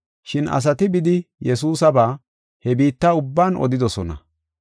Shin asati bidi Yesuusaba he biitta ubban odidosona.